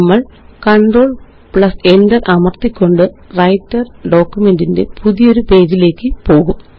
നമ്മള്Control Enter അമര്ത്തിക്കൊണ്ട്Writer document ന്റെ പ്ഉതിയൊരു പേജിലേയ്ക്ക് പോകും